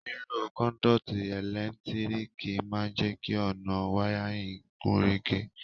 Lílo conduit ẹ́lẹ̀ntíríkì ma n je ki ọ̀nà wiring gúnrégé